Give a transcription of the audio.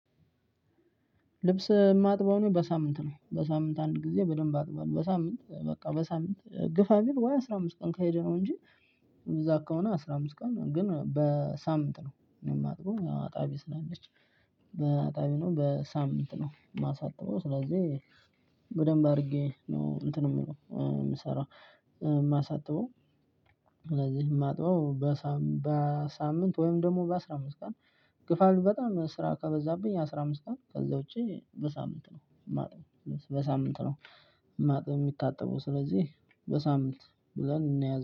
ልብስ የማጥበው ነው በሳምንት ነው በሳምንት አንድ ጊዜ በደንብ አጥበው በሳምንት ነው በቃ በሳምንት ግፋ ቢል ወይ አስራ አምስት ቀን ከሄደ ነው እንጂ። እዛ ከሆነ አስራ አምስት ቀን ግን በ ሳምንት ነው የማጥበው አጣቢ ስላለች። በአጣቢ ነው በሳምንት ነው የማሳጥበው ስለዚህ በደንብ አድርጌ ነው እንትን ምለው ምሰራው የማሳጥበው። ስለዚህ የማጥበው በሳምን በሳምንት ወይም ደግሞ በአስራ አምስት ቀን። ግፋ ቢል በጣም ስራ ከበዛብኝ አስራ አምስት ቀን ከዛ ውጪ በሳምንት ነው ማጥበው በሳምንት ነው። ማጥበው የሚታጠበው ስለዚህ በሳምንት ብለን እናያለን